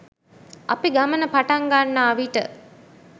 අපි ගමන පටන් ගන්නා විට